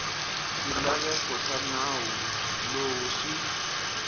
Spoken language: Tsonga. swilaveko swa nawu lowu swi